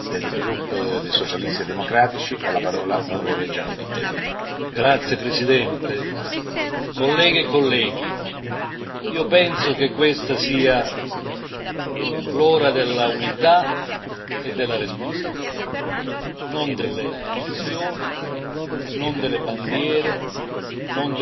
Signor Presidente, onorevoli colleghi, io penso che questa sia l'ora dell'unità e della responsabilità, non delle divisioni, non delle bandiere, non del tifo, bensì l'ora della prudenza